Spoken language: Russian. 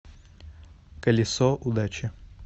колесо удачи